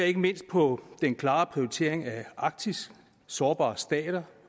ikke mindst på den klare prioritering af arktis sårbare stater